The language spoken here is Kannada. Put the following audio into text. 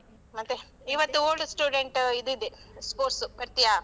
ಮತ್ತೆ, ಇವತ್ತು old student ಇದಿದೆ sports ಬರ್ತಿಯಾ?